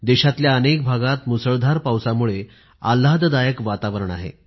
देशातल्या अनेक भागात मुसळधार पावसामुळे आल्हाददायक वातावरण आहे